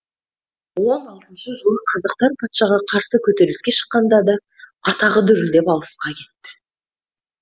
он алтыншы жылы қазақтар патшаға қарсы көтеріліске шыққанда да атағы дүрілдеп алысқа кетті